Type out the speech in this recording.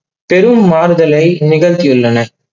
பெரும் மாறுதளை நிகழ்த்தி உள்ளன.